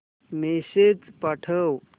message पाठव